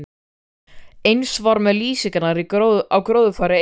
Eins var með lýsingarnar á gróðurfari eyjarinnar.